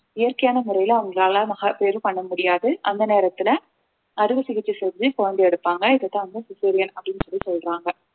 இயற்கையான முறையில அவங்களால மகப்பேறு பண்ண முடியாது அந்த நேரத்துல அறுவை சிகிச்சை செஞ்சு குழந்தையை எடுப்பாங்க இதைத்தான் வந்து cesarean அப்படின்னு சொல்லி சொல்றாங்க